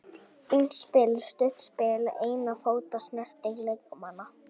Fínt spil, stutt spil og einna fóta snertingar leikmanna.